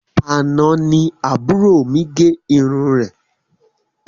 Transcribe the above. Àna ní àbúrò mí gẹ irun rẹ